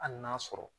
Hali n'a sɔrɔ